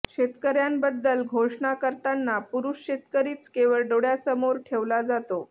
शेतकऱ्यांबद्दल घोषणा करताना पुरुष शेतकरीच केवळ डोळ्यासमोर ठेवला जातो